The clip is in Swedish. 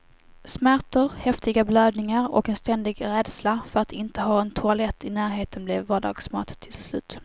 Smärtor, häftiga blödningar och en ständig rädsla för att inte ha en toalett i närheten blev vardagsmat till slut.